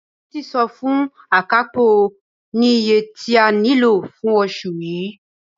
Títí sọ fún Akapo ní iye tí a nílò fún oṣù yii.